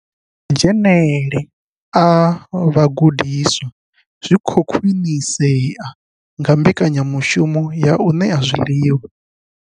Madzhenele a vhagudiswa zwi khou khwinisea nga mbekanyamushumo ya u ṋea zwiḽiwa.